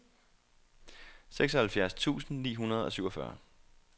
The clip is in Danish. seksoghalvfjerds tusind ni hundrede og syvogfyrre